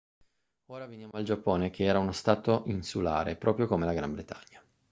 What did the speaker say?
ora veniamo al giappone che era uno stato insulare proprio come la gran bretagna